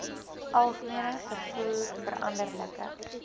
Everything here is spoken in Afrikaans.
alg vervoer veranderlike